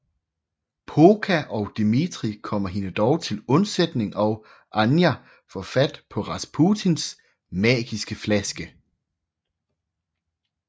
Pooka og Dimitri kommer hende dog til undsætning og Anya får fat på Rasputins magiske flaske